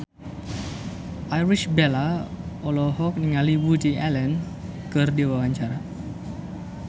Irish Bella olohok ningali Woody Allen keur diwawancara